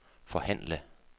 forhandle